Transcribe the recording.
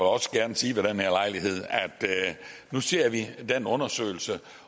også gerne sige ved den at nu ser vi på den undersøgelse